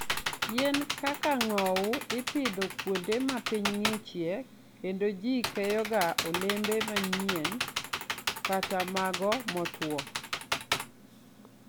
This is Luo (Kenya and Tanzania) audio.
Yien kaka ng'owo ipidho kuonde ma piny ng'ichie kendo ji keyoga olembe manyien kata mago motwo.